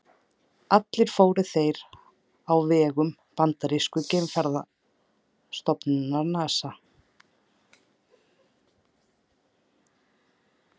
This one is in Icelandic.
Allir fóru þeir á vegum bandarísku geimferðastofnunarinnar NASA.